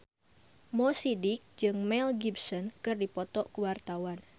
Mo Sidik jeung Mel Gibson keur dipoto ku wartawan